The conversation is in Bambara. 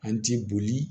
An ti boli